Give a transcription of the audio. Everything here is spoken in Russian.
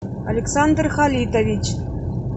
александр халитович